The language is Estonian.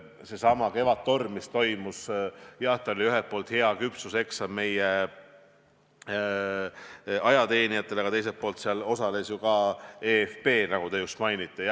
Seesama Kevadtorm, mis toimus – jah, see oli ühelt poolt hea küpsuseksam meie ajateenijatele, aga teiselt poolt seal osales ka eFP, nagu te just märkisite.